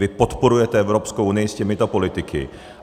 Vy podporujete Evropskou unii s těmito politiky.